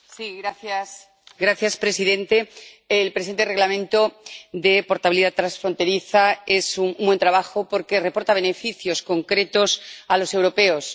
Señor presidente, el presente Reglamento de portabilidad transfronteriza es un buen trabajo, porque reporta beneficios concretos a los europeos.